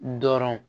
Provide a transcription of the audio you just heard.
Dɔrɔn